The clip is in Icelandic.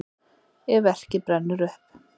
ef verkið brennur upp